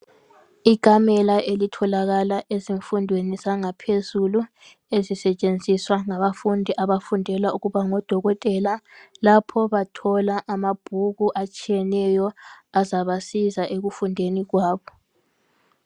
Ikamela elitholakala ezifundweni zangaphezulu, ezisetshenziswa ngabafundi, abafundela ukuba ngodokotela. Lapho bathola amabhuku atshiyeneyo. Azabasiza ekufundeni kwabo.